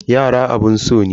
Yara abun so ne.